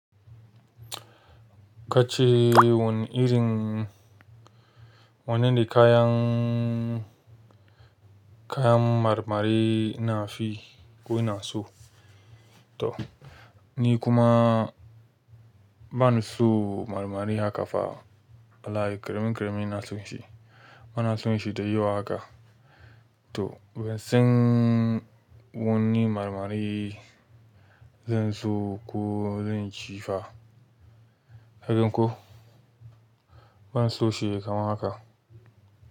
Ka ce wane irin, wannan da kayan, kayan marmari ina fi ko ina so. To, ni kuma ba na so marmari haka fa. Alaye, keremin keremin ina son shi. Ba na son shi da yawa haka. To, ban san wani marmari zan so ko zan ci fa. Kagan ko? Ban so shi yayi kaman haka.